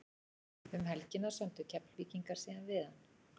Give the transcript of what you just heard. Um helgina sömdu Keflvíkingar síðan við hann.